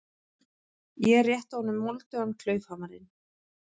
Ég rétti honum moldugan klaufhamarinn.